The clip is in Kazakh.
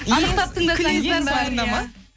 анықтап тыңдасаңыз